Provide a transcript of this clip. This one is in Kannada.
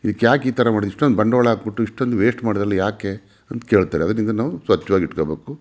ಇದು ಯಾಕೆ ಇದು ಈ ತರ ಇಷ್ಟೊಂದು ಬಂಡವಾಳ ಹಾಕುಬಿಟ್ಟು ಇಷ್ಟೊಂದು ವೇಸ್ಟ್ ಮಾಡಿದ್ದಾರೆ ಯಾಕೆ ಅಂತ ಕೇಳ್ತಾರೆ ಅದಕ್ಕೆ ನಾವು ಸ್ವಚ್ಛವಾಗಿ ಇಟ್ಟುಕೊಳ್ಳಬೇಕು.